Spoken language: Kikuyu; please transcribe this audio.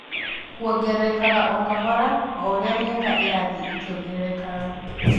Kũongererekaga o-kahora o ũrĩa mĩaka ĩrathiĩ ĩkĩongererekaga